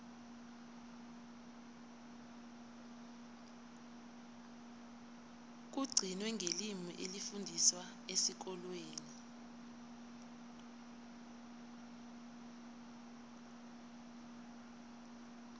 kugcine ngelimi elifundiswa esikolweni